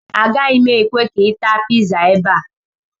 Agaghị m ekwe ka ị taa pizza ebe a